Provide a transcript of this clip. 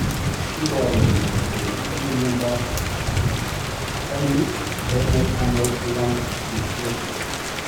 Iporu ne kole itinye miondap Thymic Renal Anal Lung dysplasia?